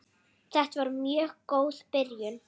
Þetta var mjög góð byrjun.